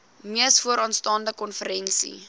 mees vooraanstaande konferensie